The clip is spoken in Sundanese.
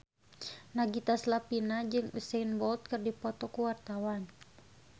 Nagita Slavina jeung Usain Bolt keur dipoto ku wartawan